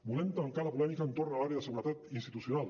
volem tancar la polèmica entorn de l’àrea de seguretat institucional